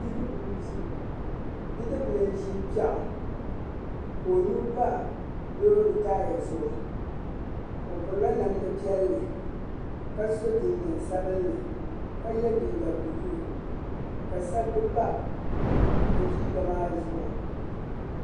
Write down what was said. Bidib'bili n-ʒi bidib'bili n-ʒi piɛɣu ka o nuu pa loori taaya zuɣu o pirila namdi piɛlli ka so jinjam sabinli ka ye liiga buluu ka sabbu pa o liiga maa zuɣu.